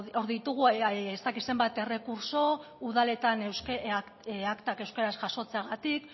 hor ditugu ez dakit zenbat errekurtso udaletan aktak euskaraz jasotzeagatik